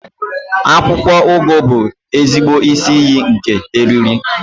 Akwụkwọ ugu bụ ezigbo isi iyi nke eriri